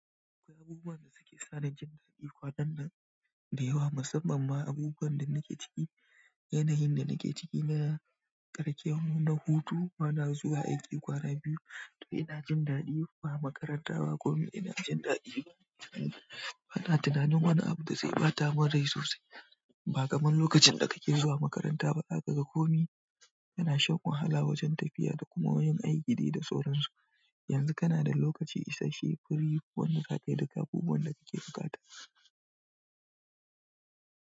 Akwai abubuwa da suke sa ni jin daɗi kwaɗannan da yawa musamman ma abubuwan da nake ciki. Yanayin da nake ciki na kasancewa na hutu, bana zuwa aiki ƙwana biyu to ina jin daɗi. Ba makaranta ba komi ina jin daɗi. Bana tunanin wani abu da zai ɓata mun rai sosai. Ba kamar lokacin da kake zuwa makaranta ba zaka ga komi yana shan wahala wajen tafiya da kuma wajan aiki dai da tsoron su. Yanzu kana da lokaci isashe, fari, wani sata da kafuwan da kake buƙata.